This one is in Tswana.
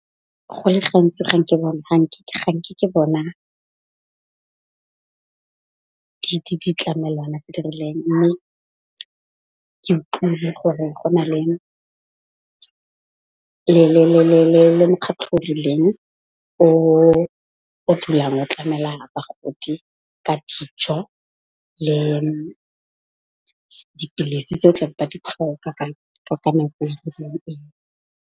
Go le gantsi ga nke ke bona, ditlamelwana tse di rileng, mme ke utlwile gore go na le mokgatlo o rileng o dulang o tlamela bagodi ka dijo le dipilisi tse o tla di tlhoka ka nako e .